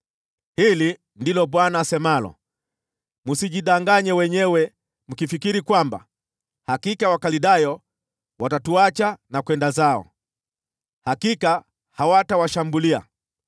“Hili ndilo Bwana asemalo: Msijidanganye wenyewe mkifikiri, ‘Hakika Wakaldayo watatuacha na kwenda zao.’ Hakika hawatawaacha!